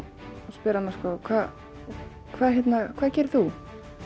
spyr hana hvað hvað gerir þú